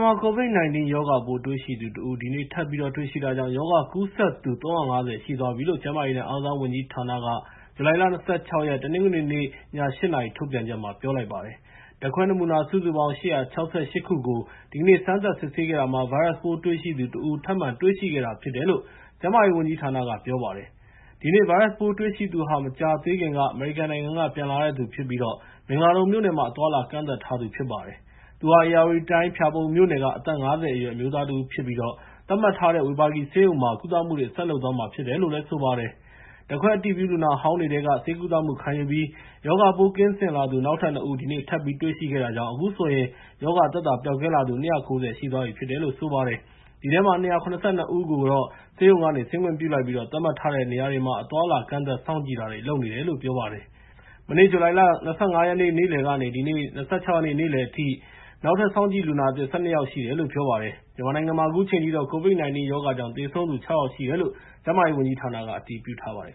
မှာ COVID-19 ရောဂါပိုး တွေ့ရှိသူ ၁ ဦး ဒီနေ့ ထပ်ပြီးတော့ တွေ့ရှိတာကြောင့် ရောဂါကူးစက်သူ ၃၅၀ ရှိသွားပြီလို့ ကျန်းမာရေးနဲ့ အားကစားဝန်ကြီးဌာနက ဇူလိုင်လ ၂၆ ရက် တနင်္ဂနွေနေ့ည ၈ နာရီ ထုတ်ပြန်ချက်မှာ ပြောလိုက်ပါတယ်။ ဓာတ်ခွဲနမူနာ စုစုပေါင်း ၈၆၈ ခုကို ဒီကနေ့ စမ်းသပ်စစ်ဆေးခဲ့တာမှာ ဗိုင်းရပ်စ်ပိုးတွေ့ရှိသူ ၁ ဦးကို ထပ်တွေ့ရှိခဲ့တာဖြစ်တယ်လို့ ကျန်းမာရေးဝန်ကြီးဌာနက ပြောပါတယ်။ ဒီနေ့ ဗိုင်းရပ်စ်ပိုးတွေ့ရှိသူဟာ မကြာသေးခင်က အမေရိကန်နိုင်ငံက ပြန်လာတဲ့သူဖြစ်ပြီး မင်္ဂလာဒုံမြို့နယ်မှာ အသွားအလာ ကန့်သတ်ထားသူ ဖြစ်ပါတယ်။ သူဟာ ဧရာဝတီတိုင်း ဖျာပုံမြို့နယ်က အသက် ၅၀ အရွယ် အမျိုးသားတဦးဖြစ်ပြီး သတ်မှတ်ထားတဲ့ ဝေဘာဂီဆေးရုံမှာ ကုသမှုတွေ ဆက်လုပ်သွားမှာဖြစ်တယ်လို့ ဆိုပါတယ်။ ဓာတ်ခွဲအတည်ပြု လူနာဟောင်းတွေထဲက ဆေးကုသမှုခံယူပြီး ရောဂါပိုး ကင်းစင်လာသူ နောက်ထပ် ၂ ဦး ဒီနေ့တွေ့ရှိခဲ့တာကြောင့် အခုဆိုရင် ရောဂါသက်သာ ပျောက်ကင်းလာသူ ၂၉၀ ရှိသွားပြီ ဖြစ်ပါတယ်။ ဒီထဲက ၂၇၂ ဦးကို ဆေးရုံဆင်းခွင့်ပြုလိုက်ပြီး သတ်မှတ်ထားတဲ့ နေရာတွေမှာ အသွားအလာ ကန့်သတ်စောင့်ကြည့်တာတွေ လုပ်နေတယ်လို့ ပြောပါတယ်။ မနေ့ ဇူလိုင် ၂၅ ရက်နေ့ နေ့လယ်ကနေ ဒီနေ့ နေ့လယ်အထိ နောက်ထပ် စောင့်ကြည့်လူနာသစ် ၁၂ ယောက်ရှိတယ်လို့ ပြောပါတယ်။ မြန်မာနိုင်ငံမှာ အခုချိန်ထိတော့ COVID-19 ကြောင့် သေဆုံးသူ ၆ ယောက်ရှိတယ်လို့ ကျန်းမာရေးဝန်ကြီးဌာနက အတည်ပြုထားပါတယ်